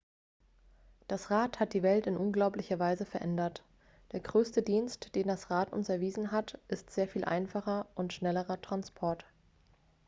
das rad hat die welt in unglaublicher weise verändert der größte dienst den das rad uns erwiesen hat ist sehr viel einfacherer und schnellerer transport